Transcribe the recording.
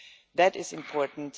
That is important.